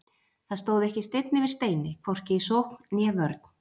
Það stóð ekki steinn yfir steini, hvorki í sókn né vörn.